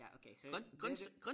Ja okay så det det